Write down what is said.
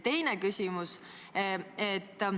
Teine küsimus.